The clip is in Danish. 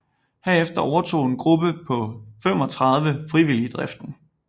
Herefter overtog en gruppe på 35 frivillige driften